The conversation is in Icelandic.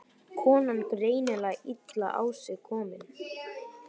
Konan greinilega illa á sig komin.